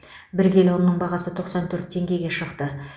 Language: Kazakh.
бәр келі ұнның бағасы тоқсан төрт теңгеге шықты